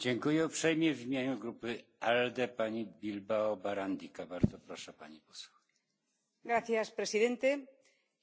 Señor presidente,